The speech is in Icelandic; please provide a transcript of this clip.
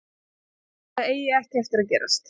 Ég held að það eigi ekki eftir að gerast.